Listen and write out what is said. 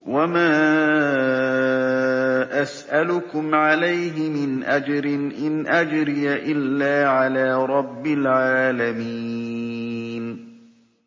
وَمَا أَسْأَلُكُمْ عَلَيْهِ مِنْ أَجْرٍ ۖ إِنْ أَجْرِيَ إِلَّا عَلَىٰ رَبِّ الْعَالَمِينَ